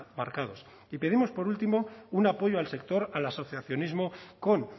marcados y pedimos por último un apoyo al sector al asociacionismo con